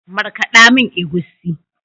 Markada mun egusi.